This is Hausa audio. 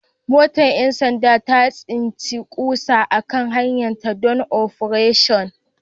Motar 'yan sanda ta tsinci ƙusa a kan hanyarta don Operation